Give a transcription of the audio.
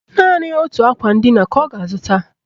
Naanị otu akwa ndina ka ọ ga-azụta